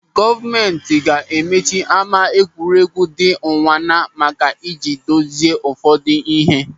Gọọmenti ga-emechi ama egwuregwu dị Ụnwana maka ị ji dozie ụfọdụ ihe.